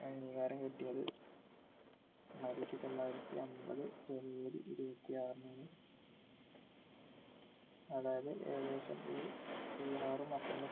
ഏർ അംഗീകാരം കിട്ടിയത് ആയിത്തി തൊള്ളായിരത്തി അമ്പത് january ഇരുപത്തിആറിന് ആണ് അതായത് ഏകദേശം ഈ ബിഹാറും അസ്സമു